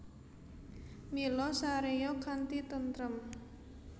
Mila saréya kanthi tentrem